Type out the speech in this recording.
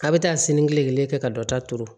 A bɛ taa sini kelenkelen kɛ ka dɔ ta turu